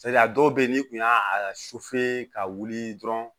a dɔw bɛ yen n'i kun y'a a ka wuli dɔrɔn